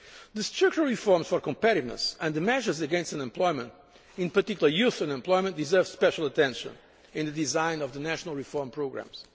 The structural reforms for competitiveness and the measures against unemployment, in particular youth unemployment, deserve special attention in the design of the national reform programmes.